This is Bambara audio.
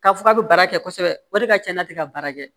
K'a fɔ k'a bɛ baara kɛ kosɛbɛ o de ka ca n'a tɛ ka baara kɛ